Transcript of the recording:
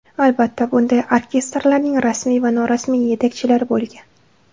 Albatta, bunday orkestrlarning rasmiy va norasmiy yetakchilari bo‘lgan.